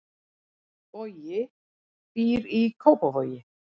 Bogi býr í Kópavogi.